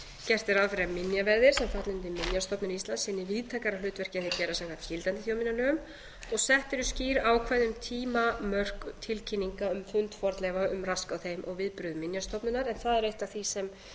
gert er ráð fyrir að minjaverðir sem falla undir minjastofnun íslands sinni víðtækara hlutverki en þeir gera samkvæmt gildandi þjóðminjalögum tólf sett eru skýr ákvæði um tímamörk tilkynninga um fund fornleifa um rask á þeim og viðbrögð minjastofnunar en það er eitt af því sem